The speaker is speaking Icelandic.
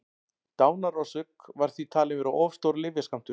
dánarorsök var því talin vera of stór lyfjaskammtur